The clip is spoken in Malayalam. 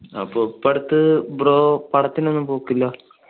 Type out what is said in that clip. അപ്പൊ ഇപ്പൊ അടുത്ത് bro പടത്തിനൊന്നും പോകില്ല?